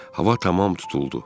Hava tamam tutuldu.